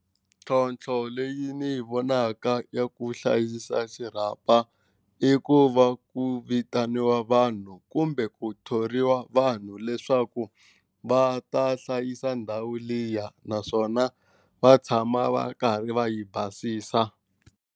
Ntlhontlho leyi ni yi vonaka ya ku hlayisa xirhapa i ku va ku vitaniwa vanhu kumbe ku thoriwa vanhu leswaku va ta hlayisa ndhawu liya naswona va tshama va karhi va yi basisa.